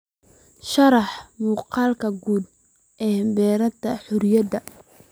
sharax muuqaalka guud ee beerta xorriyadda